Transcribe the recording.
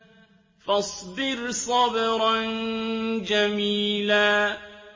فَاصْبِرْ صَبْرًا جَمِيلًا